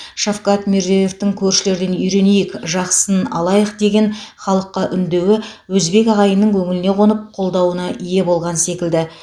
шавкат мирзиеевтың көршілерден үйренейік жақсысын алайық деген халыққа үндеуі өзбек ағайынның көңіліне қонып қолдауына ие болған секілді